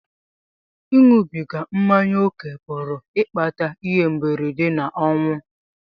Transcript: Ịṅụbiga mmanya ókè pụrụ ịkpata ihe mberede na ọnwụ.